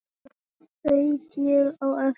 Svo þaut ég á eftir